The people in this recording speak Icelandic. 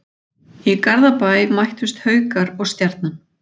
Í Garðabæ mættust Haukar og Stjarnan.